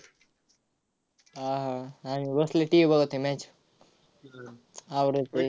हा, हा. आम्ही बसलोय TV बघत आहे match आवडंल ते.